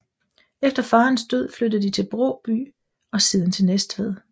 Efter faderens død flyttede de til Bråby og siden til Næstved